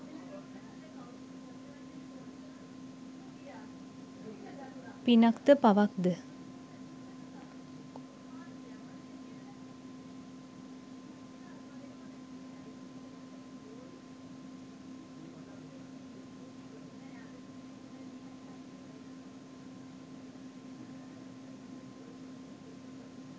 පිනක් ද පවක් ද?